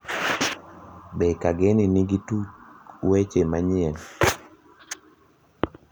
be kageni nigi tuk weche manyien